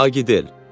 "Agidel."